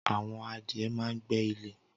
Awọn adìẹ mà n gbé ilè